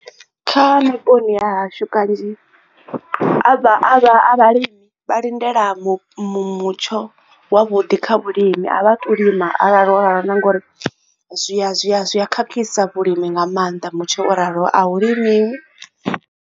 Kha vhuponi ha hashu kanzhi a vha vhalimi vha lindele mutsho wa vhuḓi kha vhulimi a vha tu lima arali o ralo na ngori zwi a zwi a khakhisa vhulimi nga maanḓa mutsho o raloho a hulimiwi.